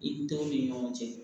I denw ni ɲɔgɔn cɛ